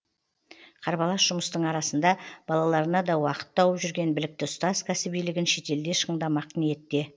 қарбалас жұмыстың арасында балаларына да уақыт тауып жүрген білікті ұстаз кәсібилігін шетелде шыңдамақ ниетте